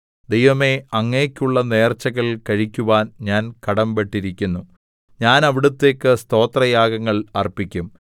ദൈവമേ അങ്ങേക്കുള്ള നേർച്ചകൾ കഴിക്കുവാൻ ഞാൻ കടമ്പെട്ടിരിക്കുന്നു ഞാൻ അവിടുത്തേക്ക് സ്തോത്രയാഗങ്ങൾ അർപ്പിക്കും